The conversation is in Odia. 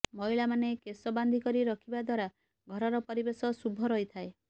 ମହିଳାମାନେ କେଶ ବାନ୍ଧି କରି ରଖିବା ଦ୍ୱାରା ଘରର ପରିବେଶ ଶୁଭ ରହିଥାଏ